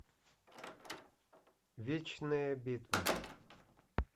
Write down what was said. вечная битва